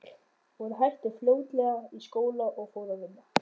Hún hætti fljótlega í skóla og fór að vinna.